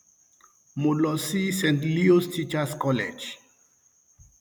mo lọ sí st leos teachers college um